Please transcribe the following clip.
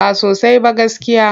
Ba sosai ba gaskiya.